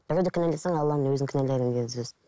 біреуді кінәласаң алланың өзін кінәладың деген сөз